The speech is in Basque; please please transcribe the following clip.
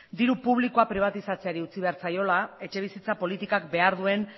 diru publikoa pribatizatzea utzi behar zaiola etxebizitza politikak behar duen